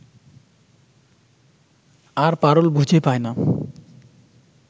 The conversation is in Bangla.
আর পারুল বুঝে পায় না